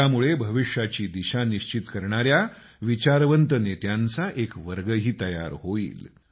यामुळे भविष्याची दिशा निश्चित करणाऱ्या विचारवंत नेत्यांचा एक वर्गही तयार होईल